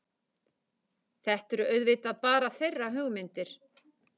Þetta eru auðvitað bara þeirra hugmyndir